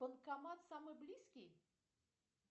банкомат самый близкий